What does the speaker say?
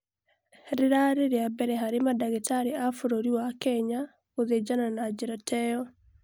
Rĩrarĩ rĩa mbere harĩ mandagĩtarĩ a bũrũri wa Kenya gũthĩnjana na njĩra ta ĩyo